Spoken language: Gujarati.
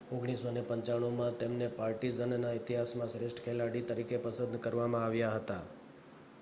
1995માં તેમને પાર્ટિઝનના ઇતિહાસમાં શ્રેષ્ઠ ખેલાડી તરીકે પસંદ કરવામાં આવ્યા હતા